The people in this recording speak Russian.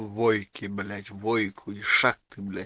войки блять войку ишак ты блять